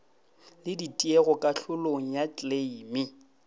le ditiego kahlolong ya kleime